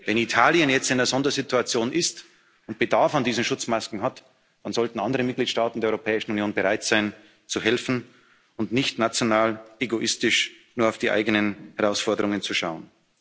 haben. Wenn Italien jetzt in einer Sondersituation ist und Bedarf an diesen Schutzmasken hat, dann sollten andere Mitgliedstaaten der Europäischen Union bereit sein, zu helfen, und nicht national egoistisch nur auf die eigenen Herausforderungen